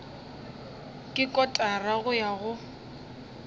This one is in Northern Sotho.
ke kotara go ya go